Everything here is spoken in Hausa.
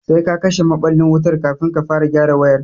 Sai ka kashe maɓallin wutan kafin ka fara gyara wayar